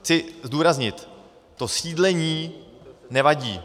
Chci zdůraznit, to sídlení nevadí.